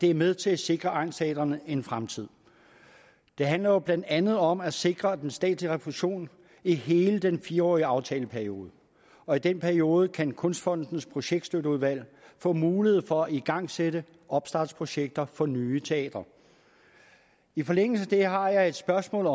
er med til at sikre egnsteatrene en fremtid det handler blandt andet om at sikre den statslige refusion i hele den fire årige aftaleperiode og i den periode kan statens kunstfonds projektstøtteudvalg få mulighed for at igangsætte opstartprojekter for nye teatre i forlængelse af det har jeg et spørgsmål